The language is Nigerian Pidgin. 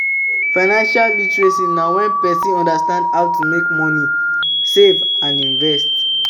Financial literacy na when person understand how to make money, save money and invest